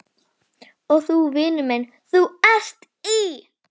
Hins vegar kom sú afturhaldssama nýjung í skáldskap